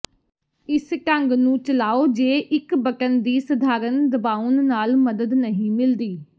ਇਸ ਢੰਗ ਨੂੰ ਚਲਾਓ ਜੇ ਇੱਕ ਬਟਨ ਦੀ ਸਧਾਰਨ ਦਬਾਉਣ ਨਾਲ ਮਦਦ ਨਹੀਂ ਮਿਲਦੀ